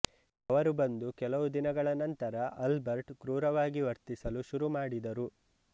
ಅವರು ಬಂದು ಕೆಲವು ದಿನಗಳ ನಂತರ ಆಲ್ಬರ್ಟ್ ಕ್ರೂರವಾಗಿ ವರ್ತಿಸಲು ಶುರುಮಾಡಿದರು